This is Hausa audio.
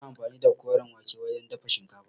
Ana anfani da koren wake wajen dafa shinkafa.